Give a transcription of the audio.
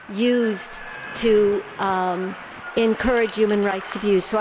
used to encourage human rights abuse.